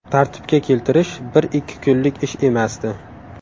Tartibga keltirish bir-ikki kunlik ish emasdi.